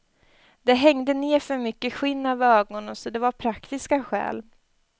Det hängde ner för mycket skinn över ögonen så det var av praktiska skäl.